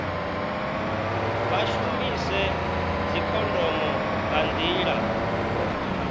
vha shumise dzikhondomo nga nḓila